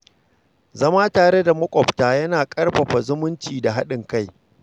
Zama tare da makwabta yana ƙarfafa zumunci da haɗin kai.